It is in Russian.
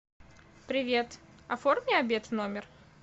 привет оформи обед в номер